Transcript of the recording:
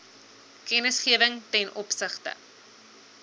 kennisgewing ten opsigte